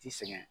Ti sɛgɛn